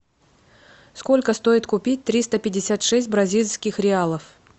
сколько стоит купить триста пятьдесят шесть бразильских реалов